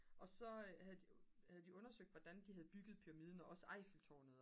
og så havde de undersøgt hvordan de havde bygget pyramiden og også eiffeltårnet